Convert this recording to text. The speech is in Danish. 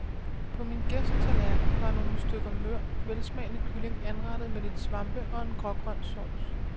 På min gæsts tallerken var nogle stykker mør, velsmagende kylling anrettet med lidt svampe og en grågrøn sauce.